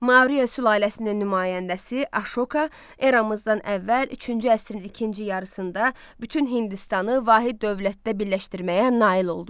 Mauriya sülaləsinin nümayəndəsi Aşoka eramızdan əvvəl üçüncü əsrin ikinci yarısında bütün Hindistanı vahid dövlətdə birləşdirməyə nail oldu.